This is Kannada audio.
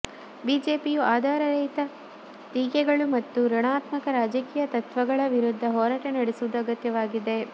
ಬಿಜೆಪಿಂುು ಆದಾರರಹಿತ ಟೀಕೆಗಳು ಮತ್ತು ಋುಣಾತ್ಮಕ ರಾಜಕೀಂುು ತತ್ವಗಳ ವಿರುದ್ಧ ಹೋರಾಟ ನಡೆಸುವುದು ಅಗತ್ಯವಾಗಿದೆ